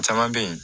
Caman bɛ yen